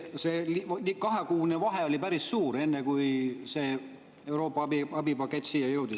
See kahekuune vahe oli päris suur, enne kui see Euroopa abipakett siia jõudis.